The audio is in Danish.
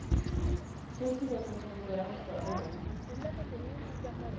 Festivalen er populær hos børn og unge.